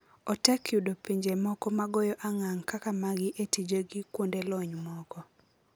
Otek yudo pinje moko magoyo angang kaka magi e tije gi kuondelony moko